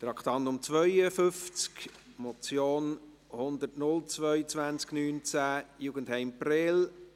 Traktandum 52, Motion 102-2019«Jugendheim Prêles – Nun endlich ein Ende mit Schrecken!